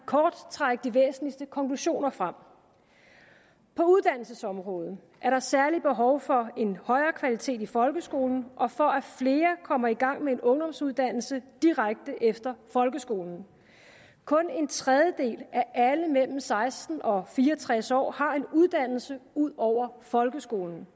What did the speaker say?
kort trække de væsentligste konklusioner frem på uddannelsesområdet er der særlig behov for en højere kvalitet i folkeskolen og for at flere kommer i gang med en ungdomsuddannelse direkte efter folkeskolen kun en tredjedel af alle mellem seksten år og fire og tres år har en uddannelse ud over folkeskolen